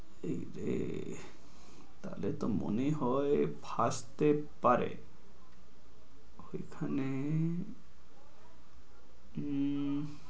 ওরে তাহলে তো মনে হয় ফাঁসতে পারে। এখানে উম